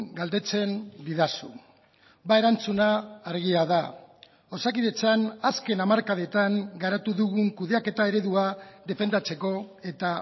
galdetzen didazu erantzuna argia da osakidetzan azken hamarkadetan garatu dugun kudeaketa eredua defendatzeko eta